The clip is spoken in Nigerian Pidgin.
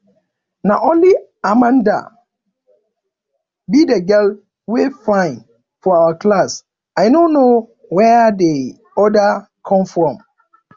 na only amanda be the girl wey fine for our class i no know where the others come from